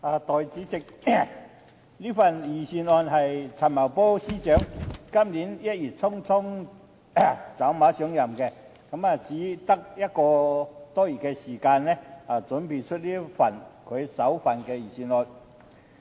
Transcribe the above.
代理主席，這份財政預算案是陳茂波司長今年1月匆匆走馬上任後，用只有1個多月時間準備的首份預算案。